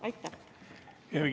Aitäh!